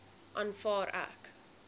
aanvaar ek